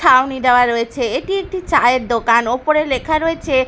ছাউনি দেওয়া রয়েছে এটি একটি চায়ের দোকান ওপরে লেখা রয়েছে--